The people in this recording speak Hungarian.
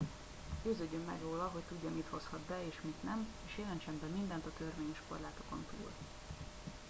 győződjön meg róla hogy tudja mit hozhat be és mit nem és jelentsen be mindent a törvényes korlátokon túl